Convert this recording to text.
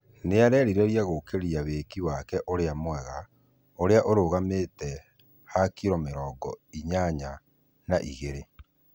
Nĩarerireria gũkĩria wĩki wake ũria mwega ũrĩa urũgamite ha kiro mĩrongo inyanya na igĩri